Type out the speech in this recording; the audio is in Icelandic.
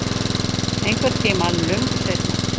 Einhvern tíma löngu seinna.